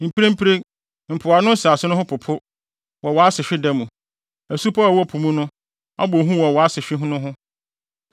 Mprempren, mpoano nsase no ho popo wɔ wʼasehwe da no; asupɔw a ɛwɔ po mu no abɔ hu wɔ wʼasehwe no ho.’